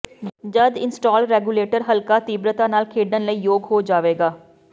ਜਦ install regulator ਹਲਕਾ ਤੀਬਰਤਾ ਨਾਲ ਖੇਡਣ ਲਈ ਯੋਗ ਹੋ ਜਾਵੇਗਾ